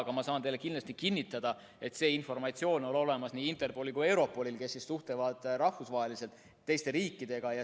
Aga ma saan teile kindlasti kinnitada, et see informatsioon on olemas nii Interpolil kui ka Europolil, kes suhtlevad rahvusvaheliselt, teiste riikidega.